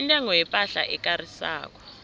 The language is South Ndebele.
intengo yepahla ekarisako